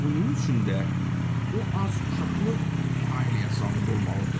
Bunun üçün də o az uşaqlı ailəyə sahib olmalıdır.